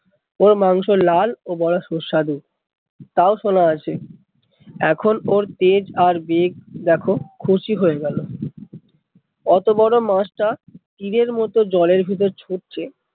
ওর মাংস লাল ও বড়ো সুস্বাদু, তা ও শোনা আছে এখন ওর তেজ আর বেগ দেখ খুশি হয়ে গেল, অত বড়ো মাছ টা তীরের মতো জলের ভেতর ছুটছে